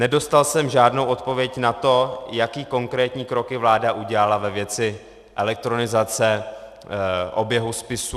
Nedostal jsem žádnou odpověď na to, jaké konkrétní kroky vláda udělala ve věci elektronizace oběhu spisů.